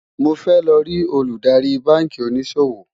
mó fẹ ló rí Olùdarí bánkì òní ṣòwò